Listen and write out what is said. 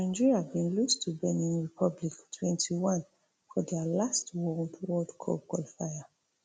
nigeria bin lose to benin republic twenty-one for dia last world world cup qualifier